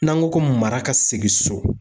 N'an go ko mara ka segin so